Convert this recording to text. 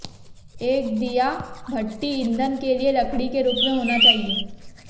एक दिया भट्ठी ईंधन के लिए लकड़ी के रूप में होना चाहिए